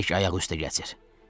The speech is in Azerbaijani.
Tək ayaq üstə gəzir.